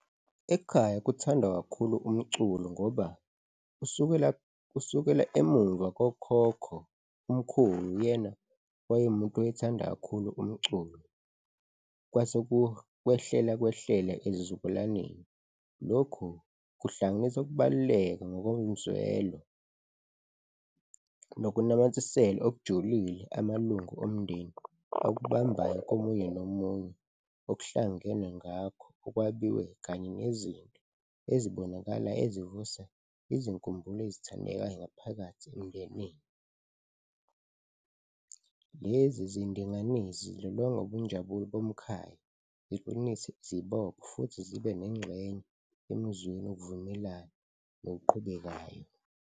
Ekhaya kuthandwa kakhulu umculo ngoba kusukela emuva kokhokho, umkhulu uyena owaye umuntu owayethanda kakhulu umculo, kwase kwehlela kwehlela ezizukulwaneni. Lokhu kuhlanganisa ukubaluleka ngokomzwelo nokunamathisela okujulile amalungu omndeni akubambayo komunye nomunye, okuhlangenwe ngakho, okwabiwe kanye nezinto ezibonakala ezivusa izinkumbulo ezithandekayo ngaphakathi emndenini. Lezi zidinganisi zilonga ubunjabulo bomkhaya, ziqinise, zibophe futhi zibe nengxenye emizweni wokuvumelana noqhubekayo.